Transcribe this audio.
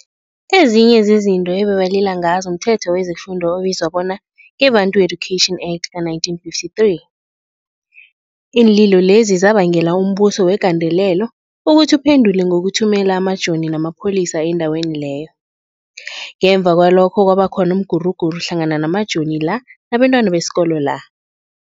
Ezinye zezinto ebebalila ngazo mthetho wezefundo obizwa bona ngeBantu, Education Act, ka-1953. Iinlilo lezi zabangela umbuso wegandelelo ukuthi uphendule ngokuthumela amajoni namapholisa endaweni leyo. Ngemva kwalokhu kwaba khona umguruguru hlangana namajoni la nabentwana besikolo la.